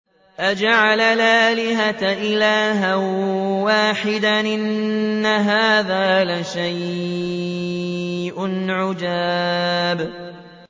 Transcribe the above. أَجَعَلَ الْآلِهَةَ إِلَٰهًا وَاحِدًا ۖ إِنَّ هَٰذَا لَشَيْءٌ عُجَابٌ